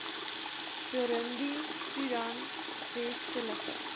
burundi soedan westelike